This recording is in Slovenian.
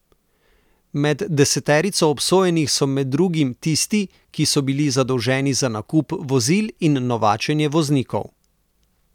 Med deseterico obsojenih so med drugim tisti, ki so bili zadolženi za nakup vozil in novačenje voznikov.